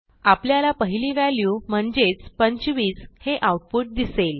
आपल्याला पहिली व्हॅल्यू म्हणजेच 25 हे आऊटपुट दिसेल